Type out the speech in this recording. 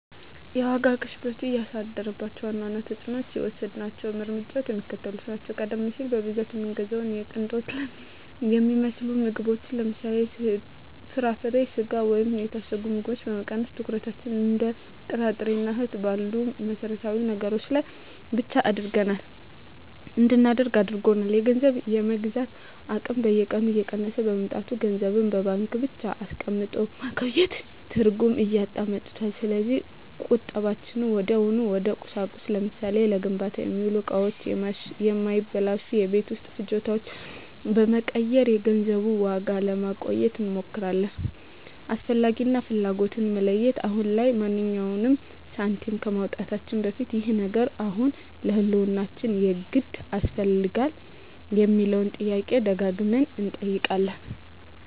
የዋጋ ግሽበቱ ያሳደራቸው ዋና ዋና ተፅዕኖዎችና የወሰድናቸው እርምጃዎች የሚከተሉት ናቸው፦ ቀደም ሲል በብዛት የምንገዛቸውን የቅንጦት የሚመስሉ ምግቦችን (ለምሳሌ፦ ፍራፍሬ፣ ስጋ ወይም የታሸጉ ምግቦች) በመቀነስ፣ ትኩረታችንን እንደ ጥራጥሬና እህል ባሉ መሠረታዊ ነገሮች ላይ ብቻ እንድናደርግ አድርጎናል። የገንዘብ የመግዛት አቅም በየቀኑ እየቀነሰ በመምጣቱ፣ ገንዘብን በባንክ ብቻ አስቀምጦ ማቆየት ትርጉም እያጣ መጥቷል። ስለዚህ ቁጠባችንን ወዲያውኑ ወደ ቁሳቁስ (ለምሳሌ፦ ለግንባታ የሚሆኑ እቃዎች ወይም የማይበላሹ የቤት ውስጥ ፍጆታዎች) በመቀየር የገንዘቡን ዋጋ ለማቆየት እንሞክራለን። "አስፈላጊ" እና "ፍላጎት"ን መለየት፦ አሁን ላይ ማንኛውንም ሳንቲም ከማውጣታችን በፊት "ይህ ነገር አሁን ለህልውናችን የግድ ያስፈልጋል?" የሚለውን ጥያቄ ደጋግመን እንጠይቃለን።